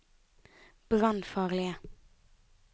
brannfarlige